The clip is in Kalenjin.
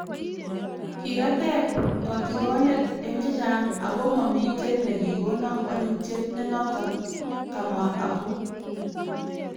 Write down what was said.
Kirateeb katikoneet en chechang ako mamiten nekikonan walutyeet nenoton," kamwaa Apu